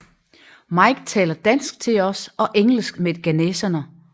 Mike taler dansk til os og engelsk med ghaneserne